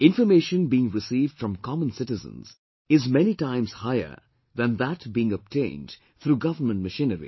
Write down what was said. Information being received from common citizens is many times higher than that being obtained through government machinery